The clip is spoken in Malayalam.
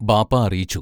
ബാപ്പാ അറിയിച്ചു.